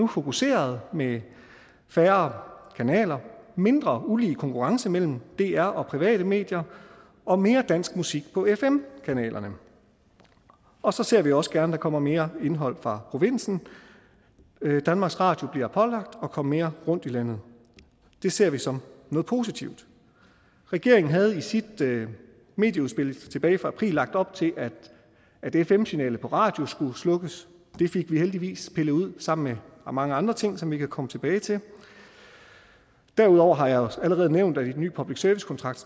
fokuseret med færre kanaler mindre ulige konkurrence mellem dr og private medier og mere dansk musik på fm kanalerne og så ser vi også gerne at der kommer mere indhold fra provinsen danmarks radio bliver pålagt at komme mere rundt i landet det ser vi som noget positivt regeringen havde i sit medieudspil tilbage fra april lagt op til at fm signalet på radio skulle slukkes det fik vi heldigvis pillet ud sammen med mange andre ting som vi kan komme tilbage til derudover har jeg allerede nævnt at den nye public service kontrakt